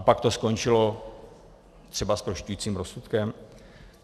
A pak to skončilo třeba zprošťujícím rozsudkem?